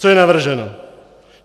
Co je navrženo?